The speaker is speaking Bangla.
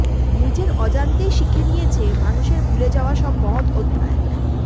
নিজের অজান্তেই শিখে নিয়েছে মানুষের ভুলে যাওয়া সব মহৎ অধ্যায়